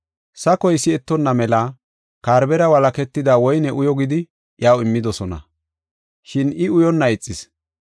Sakoy si7etonna mela karbera walaketida woyne uyo gidi iyaw immidosona; shin I uyonna ixis.